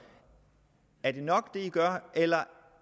er det nok det man gør eller